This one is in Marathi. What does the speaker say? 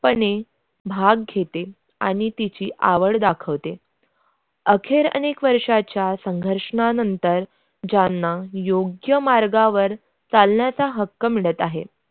पण भाग घेते आणि तिची आवड दाखवते. अखेर अनेक वर्षाच्या संघर्षणनंतर ज्यांना योग्य मार्गावर चालण्याचा हक्क मिळत आहेत.